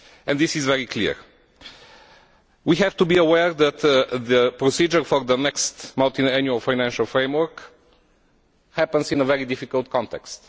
This is very clear. We have to be aware that the procedure for the next multiannual financial framework is taking place in a very difficult context.